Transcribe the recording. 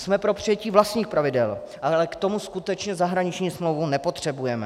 Jsme pro přijetí vlastních pravidel, ale k tomu skutečně zahraniční smlouvu nepotřebujeme.